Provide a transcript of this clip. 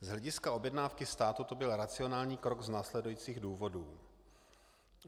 Z hlediska objednávky státu to byl racionální krok z následujících důvodů.